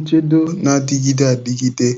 nchedo na-adigide adịgide